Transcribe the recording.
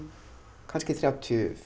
kannski þrjátíu